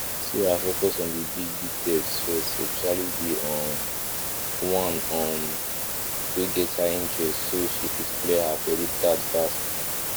sarah focus on the big big debts first especially the um one um wey get high interest so she fit clear her credit card fast